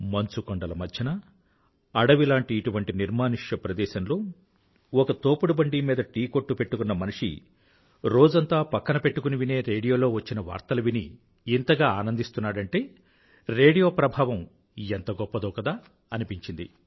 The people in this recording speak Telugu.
మంచు కొండల మధ్యన అడవిలాంటి ఇటువంటి నిర్మానుష్య ప్రదేశంలో ఒక తోపుడు బండి మీద టీ కొట్టు పెట్టుకున్న మనిషి రోజంతా పక్కనే పెట్టుకునే వినే రేడియోలో వచ్చిన వార్తలు విని ఇంతగా ఆనందిస్తున్నాడంటే రేడియో ప్రభావం ఎంత గొప్పదో కదా అనిపించింది